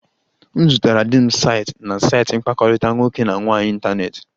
M zutere di m site na saịtị mkpakọrịta nwoke na nwaanyị n'ịntanetị